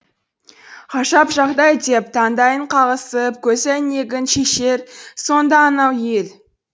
ғажап жағдай деп таңдайын қағысып көзәйнегін шешер сонда анау ел